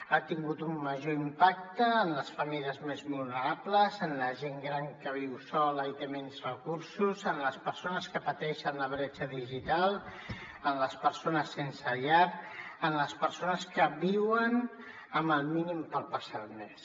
ha tingut un major impacte en les famílies més vulnerables en la gent gran que viu sola i té menys recursos en les persones que pateixen la bretxa digital en les persones sense llar en les persones que viuen amb el mínim per passar el mes